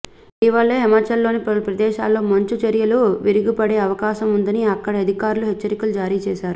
ఇటీవలే హిమాచల్లోని పలు ప్రదేశాల్లో మంచుచరియలు విరిగిపడే అవకాశం ఉందని అక్కడి అధికారులు హెచ్చరికలు జారీ చేశారు